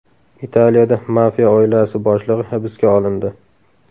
Italiyada mafiya oilasi boshlig‘i hibsga olindi.